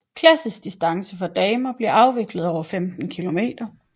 Klassisk distance for damer bliver afviklet over 15 km